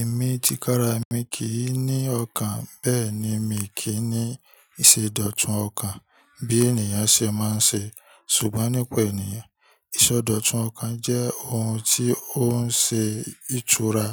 Èmi ti kára mi kì í ní ọkàn bẹ́ẹ̀ ni mi kì í ní ìṣẹ̀dọ̀tún ọkàn bí ènìyàn ṣe máa ń ṣe. Ṣùgbọ́n nípa ènìyàn, ìṣẹ̀dọ̀tún ọkàn jẹ́ ohun tí ó ń ṣe ìtura,